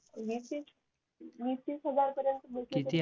वीस तीस वीस तीस हजार पर्यंत